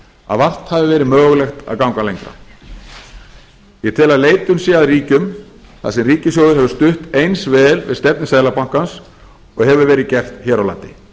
að vart hafi verið mögulegt að ganga lengra ég tel að leitun sé að ríkjum þar sem ríkissjóður hefur stutt eins vel við stefnu seðlabankans og hefur verið gert hér á landi